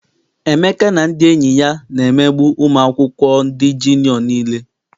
Emeka na ndị enyi ya na-emegbu ụmụ akwụkwọ ndị jiniọ nile.